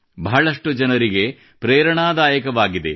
ಬಹಳಷ್ಟು ಜನರಿಗೆ ಪ್ರೇರಣಾದಾಯಕವಾಗಿದೆ